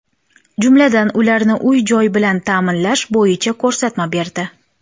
Jumladan, ularni uy-joy bilan ta’minlash bo‘yicha ko‘rsatma berdi.